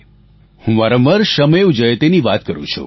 હું વારંવાર શ્રમેવજયતેની વાત કરું છું